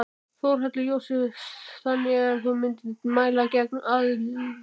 Þórhallur Jósefsson: Þannig að þú myndir þá mæla gegn aðild?